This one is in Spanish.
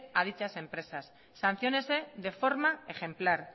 a dichas empresas sanciónese de forma ejemplar